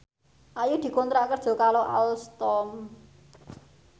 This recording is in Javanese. Ayu dikontrak kerja karo Alstom